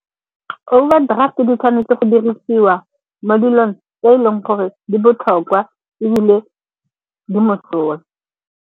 Overdraft-e di tshwanetse go dirisiwa mo dilong tse e leng gore di botlhokwa ebile di mosola.